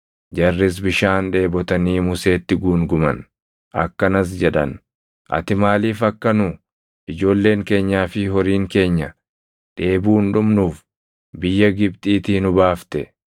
Jarris bishaan dheebotanii Museetti guunguman; akkanas jedhan; “Ati maaliif akka nu, ijoolleen keenyaa fi horiin keenya dheebuun dhumnuuf biyya Gibxiitii nu baafte?”